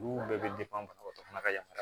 Olu bɛɛ bɛ banabagatɔ fana ka yamaruya